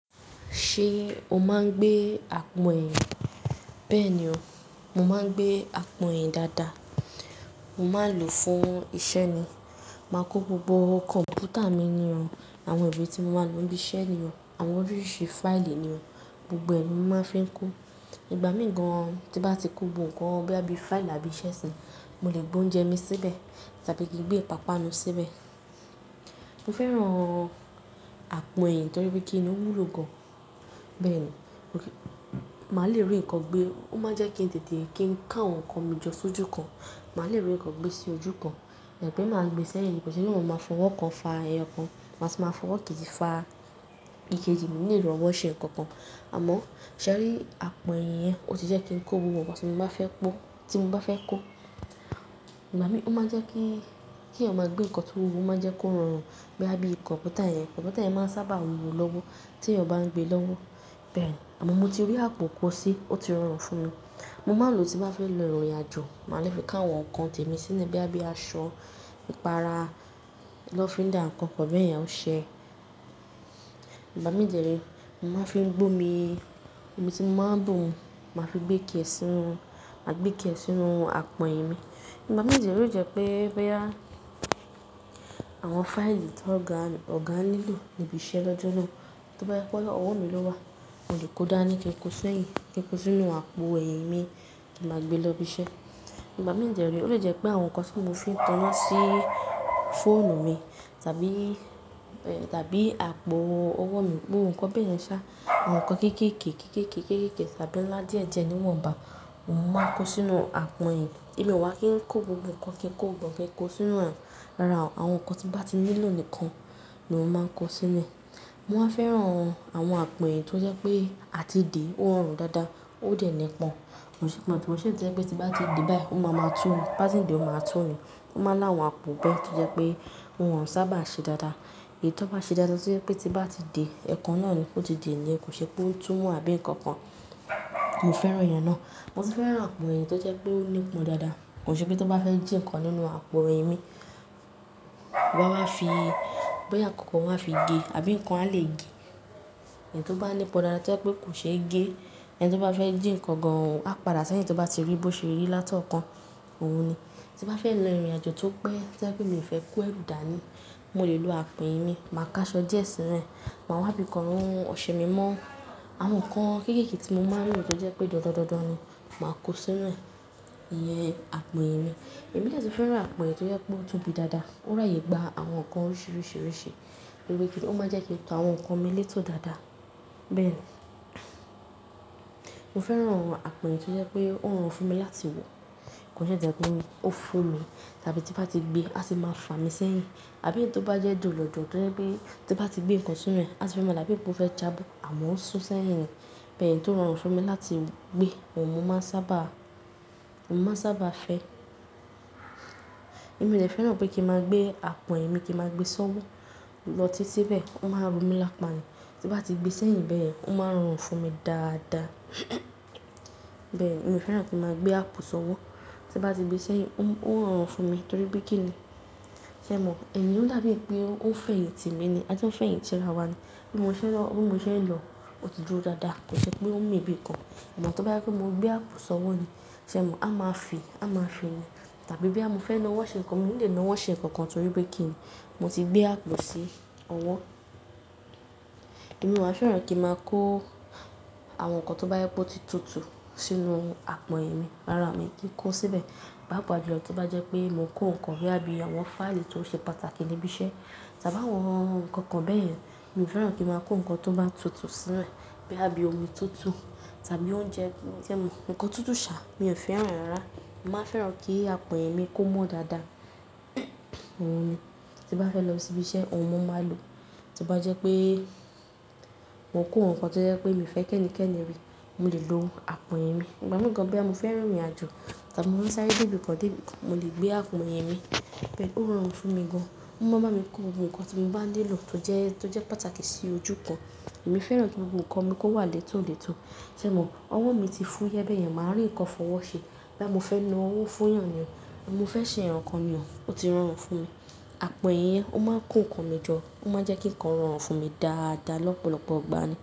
Ṣé o máa ń gbé àpò ẹ̀yìn? Bẹ́ẹ̀ ni ọ, mo máa ń gbé àpò ẹ̀yìn dáadáa. Mo máa ń lò fún iṣẹ́ ni. Máa kó gbogbo kọ̀m̀pútà mi ni ọ, àwọn ìwé tí mo máa ń lò níbí iṣẹ́ ni ọ, àwọn oríṣiríṣi fáìlì ni ọ, gbogbo ẹ̀ ni mo máa fi ń kó. Ìbá mi gan-an tí bá ti kó gbogbo nǹkan bóyá bí fáìlì àbí iṣẹ́ sí i, mo lè gbé oúnjẹ mi síbẹ̀ tàbí kí n gbé ìpápánu síbẹ̀. Mo fẹ́ràn àpò ẹ̀yìn torí pé kíni ó wúlò gan-an. Bẹ́ẹ̀ ni, máa lè rí ǹkan gbé, ó máa jẹ́ kí n tètè kí n kó àwọn nǹkan mi jọ sójú kan. Màá lè rí ǹkan gbé sí ojú kan ema pé máa gbé sí ẹ̀yìn, kì ṣe pé má fọwọ́ kan fa ẹyọ kan, màá sì máa fọwọ́ kejì fa ìkejì mio ni lè rí ọwọ́ ṣe nǹkan kan. Àmọ́ ṣẹ̀rí àpò ẹ̀yìn yẹn ó ti jẹ́ kí n kó gbogbo ǹkan tí mo bá fẹ́ kó. Ìgbà mi, ó máa jẹ́ kí, kí èyàn máa gbé nǹkan tó wúwo ó máa jẹ́ kó rọrùn bóyá bí kọ̀m̀pútà yẹn. Kọ̀m̀pútà yẹn máa ń sábà wúwo lọ́wọ́ tí èyàn bá ń gbé lọ́wọ́. Bẹ́ẹ̀ ni, àmọ́ mo ti rí àpò kó sí i, ó ti rọrùn fún mi. Mo máa ń lò tí bá fẹ́ lọ ìrìnàjò. Màá lè fi ká àwọn nǹkan tèmi sínú bí i aṣọ, ipara, lọfindà, nǹkan kan bẹ́ẹ̀ yẹn, óṣe. Ìgbà mi dere mo máa fi ń gbé omi, omi tí mo máa ń bùn, màá fi gbé kì ẹ́ sínú, màá gbé kì ẹ́ sínú àpò ẹ̀yìn mi. Ìgbà mi de re o jẹ́ pé, pé bóyá, àwọn fáìlì tó ga, ò ga nílò níbí iṣẹ́ lọ́jọ́ náà, tó bá jẹ́ ọwọ́ mi lọ́wọ́, mo lè kó dáa ní kí n kó sẹ́yìn, kí n kó sínú àpò ẹ̀yìn mi kí n máa gbé lọ ibi iṣẹ́. Ìgbà mi de ré, ó le jẹ́ pé àwọn nǹkan tí mo fi ń taná síí fóònù mi tàbí, tàbí àpò ọwọ́ mi, gbogbo nǹkan bẹ́ẹ̀ yẹn ṣá, àwọn nǹkan kéékèè, kéékèè, kéékèè tàbí ńlá díẹ̀ díẹ̀ ni wọ́n bá, mo máa kó sínú àpò ẹ̀yìn. Èmi ò wá kì n kó gbogbo nǹkan kí n kó gbọngàn kí n kó sínú ẹ ò. Rárá o, àwọn nǹkan tí bá ti nílò nìkan ni mo máa kó sínú rẹ̀. Mo máa ń fẹ́ràn àwọn àpò ẹ̀yìn tó jẹ́ pé a ti dè é, ó rọrùn dáadáa, ó dẹ nípọn. Kò ṣe pé àbí kò ṣe tó jẹ́ pé tí bá ti di báyìí, ó máa ma tú u, bá ti ń di ó máa tún u. Ó máa láwùn àpò bẹ́ẹ̀ tó jẹ́ pé òun ò sábà ṣe dáadáa. Èyí tó bá ṣe dáadáa tó jẹ́ pé tí bá ti de, ẹ̀ kan náà ni kó ti dè ni, kò ṣe pé ó tú mo àbí nǹkan kan. Mo fẹ́ràn ìyẹn náà. Mo sì fẹ́ràn àpò ẹ̀yìn tó jẹ́ pé ó nípọn dáadáa. Kò ṣe pé tí bá fẹ́ jí nǹkan nínú àpò ẹ̀yìn mi, wa n wa fi, bóyá nǹkan kan wà máa fi gé àbí nǹkan ha lè gé. Ẹyi tí ó bá nípọn dáadáa tó jẹ́ pé kò ṣe gé, ẹni tí ó bá fẹ́ jí nǹkan gan-an, a padà sẹ́yìn tí ó bá ti rí bó ṣe rí látọ̀ọ́kan. Óun ni. Tí n bá fẹ́ lọ ìrìnàjò tó pẹ́ tó jẹ́ pé mi ò fẹ́ kó ẹrù dàní, mo lè lo àpò ẹ̀yìn mi. Màá ká aṣọ díẹ̀ sínú rẹ̀, màá wá bi kan run ọṣẹ mi mọ́. Àwọn nǹkan kéékèè tí mo máa ń lò tó jẹ́ pé dandan ni, màá kó sínú rẹ̀. Iyẹn àpò ẹ̀yìn mi. Èmi dè tún fẹ́ràn àpò ẹ̀yìn tó jẹ́ pé ó tóbi dáadáa, ó ràyè gba àwọn nǹkan oríṣiríṣi. Torí kíni ó máa jẹ́ kí n tò àwọn nǹkan mi létò dáadáa. Bẹ́ẹ̀ ni. Mo fẹ́ràn àpò ẹ̀yìn tó jẹ́ pé ó rọrùn fún mi láti wọ̀. Kò ṣe èyí tó jẹ́ pé ó fún mi tàbí tí n bá ti gbé, a ti máa fàá mi sẹ́yìn. Àbí ẹyi tí ó bá jẹ́ dùn lọ̀dọ̀, tó jẹ́ pé tí bá ti gbé nǹkan sínú rẹ̀, a tì fẹ́ máa dàbí bí ó fẹ́ jábọ̀, àmọ́ ó sùn sẹ́yìn. Bẹ́ẹ̀ ni, tó rọrùn fún mi láti gbé, òun mo máa ń sábà, mo máa ń sábà fẹ́. Èmi dè fẹ́ràn pé kí n máa gbé àpò ẹ̀yìn mi kí n máa gbé sọ́wọ́ lọ títí bẹ́ẹ̀, ó máa rọ mí lápá ni. Tí n bá ti gbé sẹ́yìn bẹ́ẹ̀ yẹn, ó máa rọrùn fún mi dáadáa. Bẹ́ẹ̀ ni, èmi ò fẹ́ràn kí n máa gbé àpò sọ́wọ́. Tí n bá ti gbé sẹ́yìn, ó ń rọrùn fún mi torí pé kíni, ṣé ẹ mọ̀? Ẹ̀yin ò dá bíi pé ó ń fẹ̀yìntì mi ni ajo ń fẹ̀yìntì ara wa ni. Bí mo sẹ́ lọ, bí mo ṣe lọ, ó ti dúró dáadáa. Kò ṣe pé ó ń mi níbi kan. Àmọ́ tó bá jẹ́ mo gbé àpò sọ́wọ́ ni, ṣé ẹ mọ̀? A máa fi, a máa fi ni. Tàbí bóyá mofe lo owó ṣe nǹkan, mo nílò lo owó ṣe nǹkan kan torí pé kíni mo ti gbé àpò sí owó. Èmi máa fẹ́ràn kí n máa kó àwọn nǹkan tó bá yẹ kó ti tutu sínú àpò ẹ̀yìn mi. Rárá mi kí n kó síbẹ̀. Papàjùlọ tó bá jẹ́ pé mo kó nǹkan bóyá bí àwọn fáìlì tó ṣe pàtàkì níbí iṣẹ́ tàbí àwọn nǹkan kan bẹ́ẹ̀ yẹn, mi ò fẹ́ràn kí n máa kó nǹkan tó bá tutù sínú rẹ̀ bóyá bí omi tutù tàbí oúnjẹ. Sé ẹ mọ̀? Ǹǹkan tutù ṣà, mi ò fẹ́ràn ẹ rárá. Mo máa fẹ́ràn kí àpò ẹ̀yìn mi kó mọ́ dáadáa. Óun ni. Tí n bá fẹ́ lọ sí ibi iṣẹ́, òun mo máa lò. Tí bá jẹ́ pé mo kó nǹkan tó jẹ́ pé mi fẹ́ kí ẹni kẹ́ni rí, mo lè lo àpò ẹ̀yìn mi. Ìbá mi gan-an bóyá mo fẹ́ rìrìnàjò tàbí mo ń sáré dé ibi kan dé ibi kan, mo lè gbé àpò ẹ̀yìn mi. Bẹ́ẹ̀ ni, ó rọrùn fún mi gan-an. Ó máa ń bá mi kó gbogbo nǹkan tí mo bá nílò tó jẹ́, tó jẹ́ pàtàkì sí ojú kan. Èmi fẹ́ràn kí gbogbo nǹkan mi kó wà létò létò. Sé ẹ mọ̀? Ọwọ́ mi ti fún yé bẹ́yẹn, màá rí nǹkan fọwọ́ ṣe. Bóyá mo fẹ́ ná owó fún ìyàn ni o, mo fẹ́ ṣe nǹkan kan ni o, ó ti rọrùn fún mi. Àpò ẹ̀yìn yẹn ó máa ń kó nǹkan mi jọ, ó máa ń jẹ́ kí nǹkan rọrùn fún mi dáadáa lọ́pọ̀lọpọ̀ ìgbà ni.